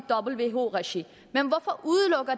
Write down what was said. who regi